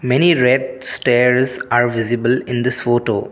many red stairs are visible in this photo.